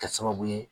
Kɛ sababu ye